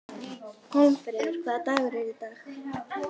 Hólmfríður, hvaða dagur er í dag?